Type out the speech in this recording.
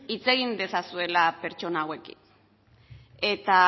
hitz egin dezazuela pertsona hauekin eta